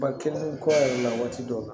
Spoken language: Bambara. Ba kelen kɔ yɛrɛ la waati dɔw la